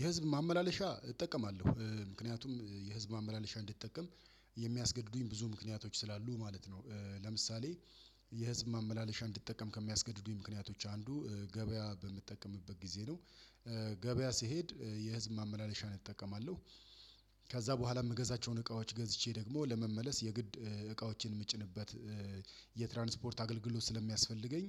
የህዝብ ማመላለሻ እጠቀማለሁ ምክንያቱም የህዝብ ማመላለሻ እንዲጠቀም የሚያስገድዱኝ ብዙ ምክንያቶች ስላሉ ማለት ነው። ለምሳሌ የህዝብ ማመላለሻ እንድትጠቀም ከሚያስገድዱኝ ምክንያቶች አንዱ በምትጠቀምበት ጊዜ ነው። ገበያ ሲሄድ የህዝብ ማመላለሻ እጠቀማለሁ ከዛ በኋላ የምገዛቸውን እቃዎች ገዝቼ ደግሞ ለመመለስ የግድ እቃዎችን የምጭንበት የትራንስፖርት አገልግሎት ስለሚያስፈልገኝ